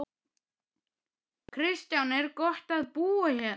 Kristján: Er gott að búa hérna?